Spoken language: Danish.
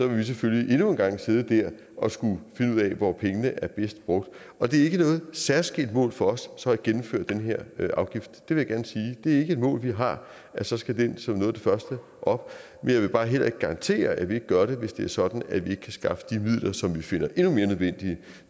vil vi selvfølgelig endnu en gang sidde der og skulle finde ud af hvor pengene er bedst brugt og det er ikke noget særskilt mål for os så at gennemføre den her afgift det vil jeg gerne sige det er ikke et mål vi har at så skal den som noget af det første op men jeg vil bare heller ikke garantere at vi ikke gør det hvis det er sådan at vi ikke kan skaffe de midler som vi finder endnu mere nødvendige